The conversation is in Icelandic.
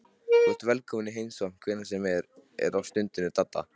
Þú ert velkominn í heimsókn hvenær sem er stundi Dadda.